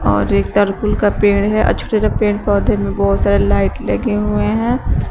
और एक तर्कूल का पेड़ है आ छोटे छोटे पेड़ पौधे में बहोत सारे लाइट लगे हुए है।